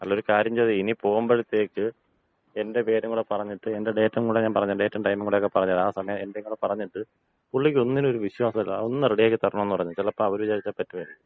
അല്ല ഒരു കാര്യം ചെയ്താ മതി, ഇനി പോകുമ്പോഴത്തേക്ക് എന്‍റെ പേര് കൂടെ പറഞ്ഞിട്ട്, എന്‍റെ ഡേറ്റും കൂട ഞാൻ പറഞ്ഞ് തരാം, ഡേറ്റും ടൈമും കൂടെയൊക്ക പറഞ്ഞു തരാം ആ സമയം എന്‍റെ കൂടെ പറഞ്ഞിട്ട് പുള്ളിക്ക് ഒന്നിനും ഒരു വിശ്വാസമില്ല, ഒന്ന് റെഡിയാക്കി തരണം എന്ന് പറഞ്ഞാല് ചിലപ്പോ അവര് വിചാരിച്ച പറ്റുമായിരിക്കും.